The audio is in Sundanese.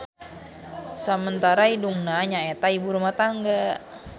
Samentara indungna nyaeta ibu rumah tangga.